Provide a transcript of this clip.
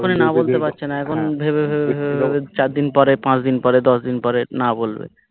না বলতে পারছেনা এখন ভেবে ভেবে ভেবে ভেবে চারদিন পরে পাঁচদিন পরে দশদিন পরে না বলবে